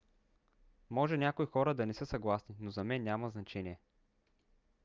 може някои хора да не са съгласни но за мен няма значение